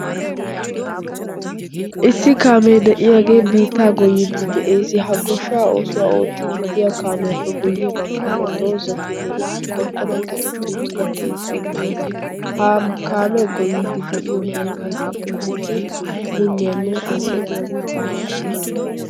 issi kaamee de'iyaagee biittaa goyiiddi de'ees ha goshshaa oosuwaa oottiididdiya kaamiyaappe guyye baggaara doozatinne issi qorqqoruwan keexetti uttida keettai de'ees ha kaamee goyiiddi de'iyo biittaikka keehippe minniyaanne anccotiya biittaa malaees